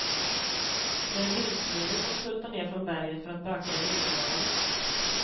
Det är vildsvinen som tultar ner från berget för att böka i vingårdarna.